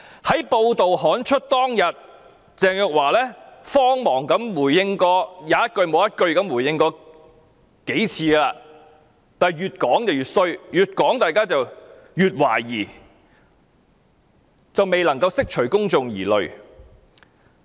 在報道刊出當天，鄭若驊才慌忙回應，即使她回應了幾次，卻越回應越引起大家懷疑，完全無法釋除公眾疑慮。